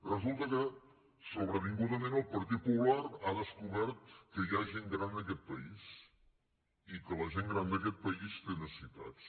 resulta que sobrevingudament el partit popular ha descobert que hi ha gent gran en aquest país i que la gent gran d’aquest país té necessitats